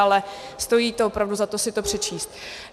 Ale stojí to opravdu za to si to přečíst.